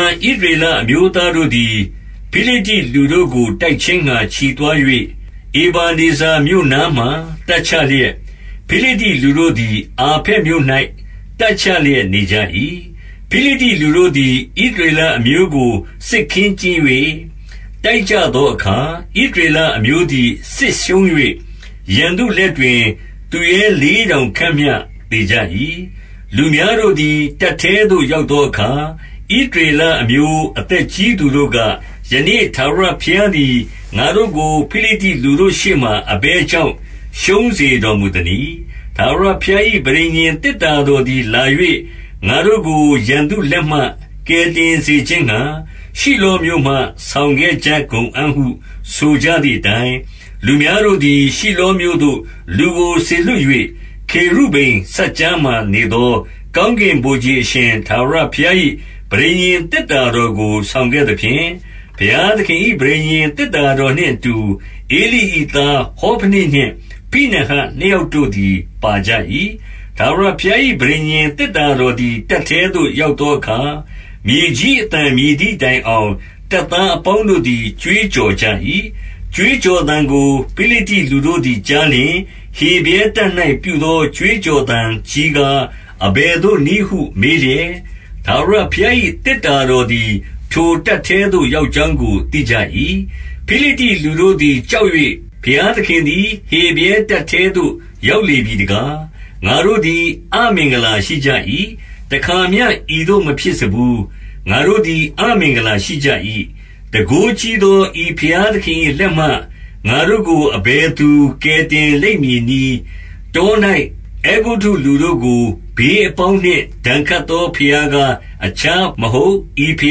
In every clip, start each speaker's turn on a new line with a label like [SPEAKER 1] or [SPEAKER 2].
[SPEAKER 1] န် ဣသရေလ အမျိုးသားတို့သည် ဖိလိတ္တိလူတို့ကို တိုက်ခြင်းငှါ ချီသွား၍၊ ဧဗနေဇာမြို့နားမှာ တပ်ချလျက်၊ ဖိလိတ္တိလူတို့သည် အာဖက်မြို့၌ တပ်ချလျက်နေကြ၏။ 2 ဖိလိတ္တိလူတို့သည် ဣသရေလအမျိုးကို စစ်ခင်းကျင်း၍ တိုက်ကြသောအခါ၊ ဣသရေလအမျိုးသည် စစ်ရှုံး၍ ရန်သူလက်တွင် သူရဲလေးထောင်ခန့်မျှ သေကြ၏။ 3 လူများတို့သည် တပ်ထဲသို့ ရောက်သောအခါ၊ ဣသရေလအမျိုး အသက်ကြီးသူတို့က၊ ယနေ့ ထာဝရ ဘုရားသည် ငါတို့ကို ဖိလိတ္တိလူတို့ရှေ့မှာ အဘယ်ကြောင့် ရှုံးစေတော်မူသနည်း။ ထာဝရဘုရား၏ ပဋိညာဉ်သေတ္တာတော်သည် လာ၍၊ ငါတို့ကို ရန်သူလက်မှ ကယ်တင်စေခြင်းငှါ၊ ရှိလောမြို့မှ ဆောင်ခဲ့ ကြကုန်အံ့ဟု ဆိုကြသည်အတိုင်း၊ 4 လူများတို့သည် ရှိလောမြို့သို့ လူကို စေလွှတ်၍၊ ခေရုဗိမ်စပ်ကြားမှာနေသော ကောင်းကင်ဗိုလ်ခြေ အရှင်ထာဝရဘုရား၏ ပဋိညာဉ်သေတ္တာတော်ကို ဆောင်ခဲ့သဖြင့်၊ ဘုရားသခင်၏ ပဋိညာဉ်သေတ္တာ တော်နှင့်အတူ ဧလိ၏ သားဟောဖနိနှင့်ဖိနဟတ်နှစ်ယောက်တို့သည် ပါကြ၏။ 5 ထာဝရဘုရား၏ ပဋိညာဉ်သေတ္တာတော်သည် တပ်ထဲသို့ ရောက်သောအခါ၊ မြေကြီး အသံမြည် သည်တိုင်အောင် တပ်သားအပေါင်းတို့သည် ကြွေးကြော်ကြ၏။ 6 ကြွေးကြော်သံကို ဖိလိတ္တိလူတို့သည် ကြားလျှင်၊ ဟေဗြဲတပ်၌ ပြုသော ကြွေးကြော်သံကြီးကား အဘယ်သို့နည်းဟု မေးလျက်၊ ထာဝရဘုရား၏ သေတ္တာတော်သည် ထိုတပ်ထဲသို့ ရောက်ကြောင်း ကို သိကြ၏။ 7 ဖိလိတ္တိလူတို့သည် ကြောက်၍၊ ဘုရားသခင်သည် ဟေဗြဲတပ်ထဲသို့ ရောက်လေပြီ တကား။ ငါတို့ သည် အမင်္ဂလာရှိကြ၏။ တခါမျှ ဤသို့ မဖြစ်စဖူး။ 8 ငါတို့သည် အမင်္ဂလာရှိကြ၏။ တန်ခိုးကြီးသော ဤဘုရားသခင်၏လက်မှ ငါတို့ကို အဘယ်သူ ကယ် တင်လိမ့်မည်နည်း။ တော၌ အဲဂုတ္တုလူတို့ကို ဘေးအပေါင်းနှင့် ဒဏ်ခတ်သော ဘုရားကား၊ အခြား မဟုတ် ဤဘု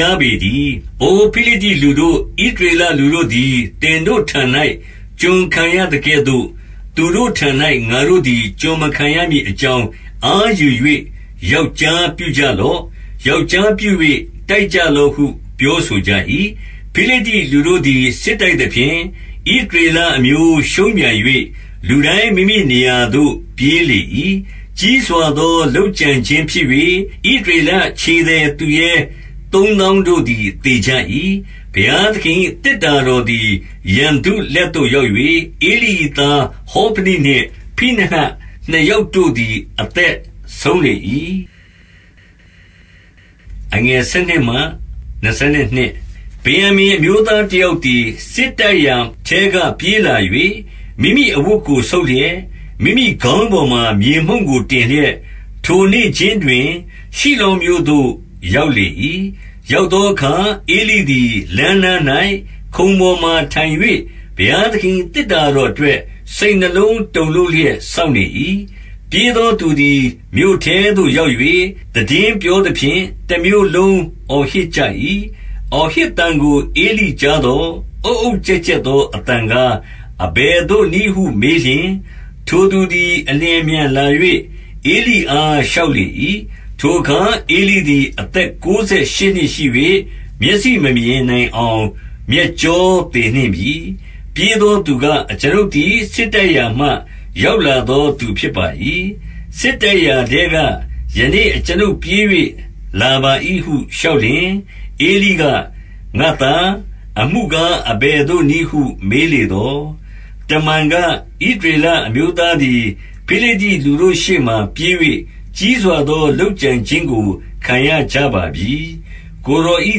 [SPEAKER 1] ရားပေတည်း။ 9 အို ဖိလိတ္တိလူတို့၊ ဣသရေလလူတို့သည် သင်တို့ထံ၌ ကျွန်ခံရသကဲ့သို့၊ သူတို့ထံ၌ ငါတို့သည် ကျွန် မခံရမည်အကြောင်း၊ အားယူ၍ ယောက်ျားပြုကြလော့။ ယောက်ျားပြု၍ တိုက်ကြလော့ဟု ပြောဆို ကြ၏။ 10 ဖိလိတ္တိလူတို့သည် စစ်တိုက်သဖြင့်၊ ဣသရေလအမျိုး ရှုံးပြန်၍၊ လူတိုင်း မိမိနေရာသို့ ပြေးလေ၏။ ကြီးစွာသော လုပ်ကြံခြင်းဖြစ်၍၊ ဣသရေလခြေသည် သူရဲ သုံးသောင်းတို့သည် သေကြ၏။ 11 ဘုရားသခင်၏ သေတ္တာတော်သည် ရန်သူလက်သို့ ရောက်၍၊ ဧလိ၏သား ဟောဖနိနှင့် ဖိနဟတ် နှစ်ယောက်တို့သည် အသက်ဆုံးလေ၏။ 12 ဗင်္ယာမိန် အမျိုးသားတယောက်သည်၊ စစ်တိုက်ရာထဲက ပြေးလာ၍၊ မိမိအဝတ်ကို ဆုတ်လျက်၊ မိမိခေါင်းပေါ်မှာ မြေမှုန့်ကိုတင်လျက်၊ ထိုနေ့ခြင်းတွင် ရှိလောမြို့သို့ ရောက်လေ၏။ 13 ရောက်သောအခါ၊ ဧလိသည် လမ်းနား၌ ခုံပေါ်မှာထိုင်၍၊ ဘုရားသခင်၏ သေတ္တာတော်အတွက် စိတ်နှလုံးတုန်လှုပ်လျက် စောင့်နေ၏။ ပြေးသောသူသည် မြို့ထဲသို့ရောက်၍ သိတင်းပြောသဖြင့်၊ တမြို့လုံး အော်ဟစ်ကြ၏။ 14 အော်ဟစ်သံကို ဧလိကြားသော်၊ အုတ်အုတ်ကျက်ကျက်သော အသံကား၊ အဘယ်သို့နည်းဟုမေးလျှင်၊ ထိုသူသည် အလျင်အမြန်လာ၍ ဧလိအား လျှောက်လေ၏။ 15 ထိုအခါ ဧလိသည် အသက် ကိုးဆယ်ရှစ်နှစ်ရှိ၍ မျက်စိမမြင်နိုင်အောင် မျက်ကြောသေနှင့်ပြီ။ 16 ပြေးသောသူက၊ အကျွန်ုပ်သည် စစ်တိုက်ရာမှ ရောက်လာသောသူ ဖြစ်ပါ၏။ စစ်တိုက်ရာထဲက ယနေ့ အကျွန်ုပ်ပြေး၍ လာပါ၏ဟု လျှောက်လျှင်၊ ဧလိက၊ ငါ့သား၊ အမှုကားအဘယ်သို့နည်းဟု မေးလေသော်၊ 17 တမန်က၊ ဣသရေလအမျိုးသည် ဖိလိတ္တိလူတို့ရှေ့မှာပြေး၍ ကြီးစွာသော လုပ်ကြံခြင်းကို ခံရကြပါပြီ။ ကိုယ်တော်၏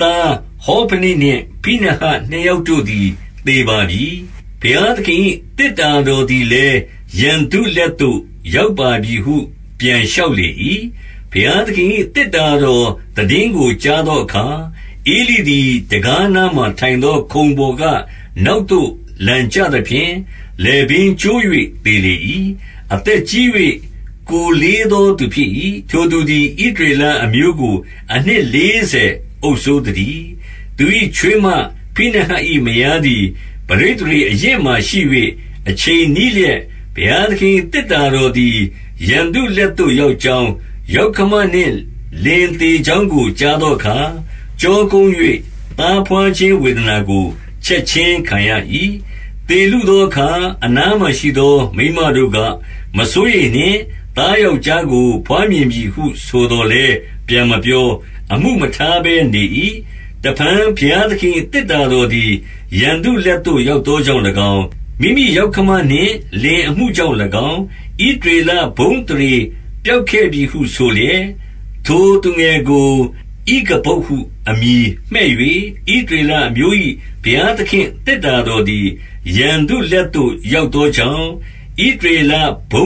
[SPEAKER 1] သား၊ ဟောဖနိနှင့် ဖိနဟတ်နှစ်ယောက်တို့သည် သေပါပြီ။ ဘုရားသခင်၏ သေတ္တာတော် သည်လည်း ရန်သူလက်သို့ ရောက်ပါပြီဟု ပြန်လျှောက်လေ၏။ 18 ဘုရားသခင်၏ သေတ္တာတော် သိတင်းကိုကြားသောအခါ၊ ဧလိသည် တံခါးနားမှာ ထိုင်သောခုံပေါ်က နောက်သို့လန်ကျသဖြင့်၊ လည်ပင်းကျိုး၍သေလေ၏။ အသက်ကြီး၍ ကိုယ်လေးသောသူ ဖြစ်၏။ ထိုသူသည် ဣသရေလအမျိုးကို အနှစ်လေးဆယ် အုပ်စိုးသတည်း။ 19 သူ၏ ချွေးမဖိနဟတ်၏ မယားသည် ပဋိသန္ဓေအရင့်အမာရှိ၍ အချိန်နီးလျက်၊ ဘုရားသခင်၏ သေတ္တာတော်သည် ရန်သူလက်သို့ ရောက်ကြောင်း၊ ယောက္ခမနှင့် လင်သေကြောင်းကို ကြားသောအခါ၊ ကျောကုန်း၍ သားဘွားခြင်း ဝေဒနာကို ချက်ခြင်းခံရ၏။ 20 သေလုသောအခါ အနားမှာရှိသော မိန်းမတို့က၊ မစိုးရိမ်နှင့်။ သားယောက်ျားကို ဘွားမြင်ပြီဟု ဆိုသော်လည်း ပြန်မပြော၊ အမှုမထားဘဲနေ၏။ 21 တဖန် ဘုရားသခင်၏ သေတ္တာတော်သည် ရန်သူလက်သို့ ရောက်သောကြောင့်၎င်း၊ မိမိယောက္ခမ နှင့် လင်အမှုကြောင့်၎င်း၊ ဣသရေလဘုန်းအသရေ ပျောက်ခဲ့ပြီဟုဆိုလျက်၊ ထိုသူငယ်ကို ဣခဗုဒ် အမည်ဖြင့် မှည့်၍၊- 22 ဣသရေလအမျိုး၏ ဘုရားသခင့် သေတ္တာတော်သည် ရန်သူလက်သို့ ရောက်သောကြောင့်၊ ဣသရေလ ဘု